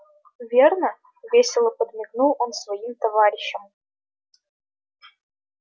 верно весело подмигнул он своим товарищам